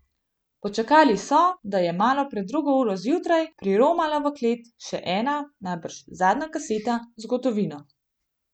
Počakali so, da je malo pred drugo uro zjutraj priromala v klet še ena, najbrž zadnja kaseta z gotovino.